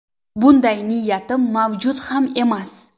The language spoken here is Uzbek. Bunday niyatim mavjud ham emas.